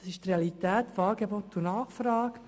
Dies ist die Realität von Angebot und Nachfrage.